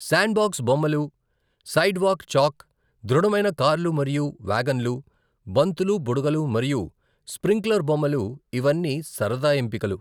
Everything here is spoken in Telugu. శాండ్బాక్స్ బొమ్మలు, సైడ్వాక్ చాక్, దృఢమైన కార్లు మరియు వ్యాగన్లు, బంతులు, బుడగలు మరియు స్ప్రింక్లర్ బొమ్మలు ఇవన్నీ సరదా ఎంపికలు.